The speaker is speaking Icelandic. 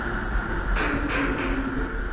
Út í lífið